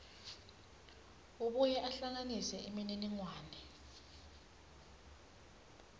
abuye ahlanganise imininingwane